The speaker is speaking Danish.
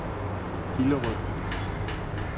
Hillerød